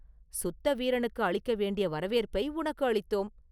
சுத்த வீரனுக்கு அளிக்க வேண்டிய வரவேற்பை உனக்கு அளித்தோம்!